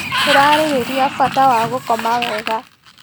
Tũrarĩrĩria bata wa gũkoma wega.